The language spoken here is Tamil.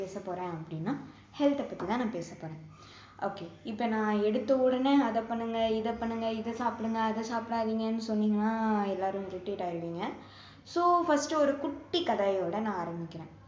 பேச போறேன் அப்படின்னா health அ பத்தி தான் நான் பேச போறேன் okay இப்போ நான் எடுத்த உடனே அதை பண்ணுங்க இதை பண்ணுங்க இதை சாப்பிடுங்க அதை சாப்பிடாதீங்கன்னு சொன்னீங்கன்னா எல்லாரும் irritate ஆகிடுவிங்க so first ஒரு குட்டி கதையோட நான் ஆரம்பிக்கிறேன்